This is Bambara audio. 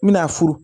N bɛna furu